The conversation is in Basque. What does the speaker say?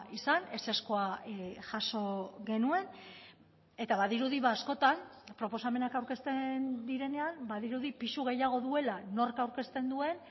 izan ezezkoa jaso genuen eta badirudi askotan proposamenak aurkezten direnean badirudi pisu gehiago duela nork aurkezten duen